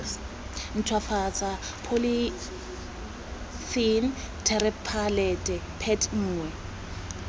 ntshwafatsa polythylene terephthalate pet nngwe